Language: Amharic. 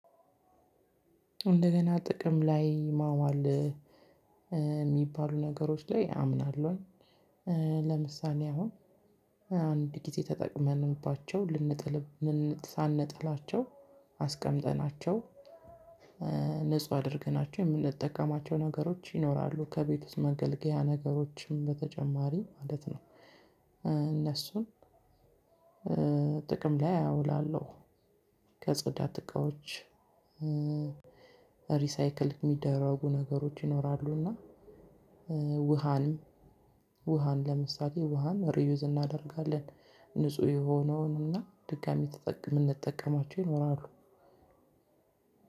እንደገና ጥቅም ላይ ማዋል የሚባሉ ነገሮች ላይ አምናለሁኝ። ለምሳሌ አሁን አንድ ጊዜ ተጠቅመንባቸው ሳንጥላቸው አስቀምጠናቸው ንጹህ አድርገናቸው የምንጠቀማቸው ነገሮች ይኖራሉ ከቤት ውስጥ መገልገያ ነገሮችም በተጨማሪ ማለት ነው። እነሱን ጥቅም ላይ አውላለሁ። ከጽዳት እቃዎች ሪሳይክል የሚደረጉ ነገሮች ይኖራሉና ውሃን ውሃን ለምሳሌ ውሃን ሪዩዝ እናደርጋለን። ንጹህ የሆነውንና ድጋሚ የምንጠቀማቸው ይኖራሉ።